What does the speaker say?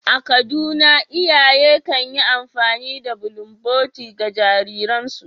A Kaduna, iyaye kan yi amfani da bulunboti, ga jariransu.